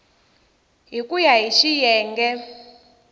hi ku ya hi xiyenge